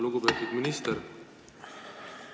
Lugupeetud minister!